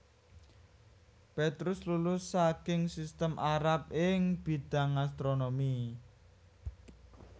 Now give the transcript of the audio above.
Petrus lulus saking sistem Arab ing bidhang astronomi